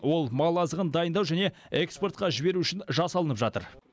ол мал азығын дайындау және экспортқа жіберу үшін жасалынып жатыр